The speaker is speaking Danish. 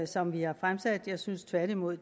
som vi har fremsat jeg synes tværtimod